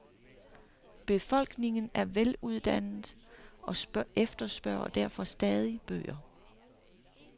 Befolkningen er veluddannet og efterspørger derfor stadig bøger.